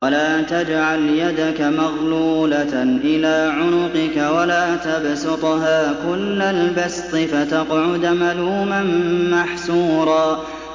وَلَا تَجْعَلْ يَدَكَ مَغْلُولَةً إِلَىٰ عُنُقِكَ وَلَا تَبْسُطْهَا كُلَّ الْبَسْطِ فَتَقْعُدَ مَلُومًا مَّحْسُورًا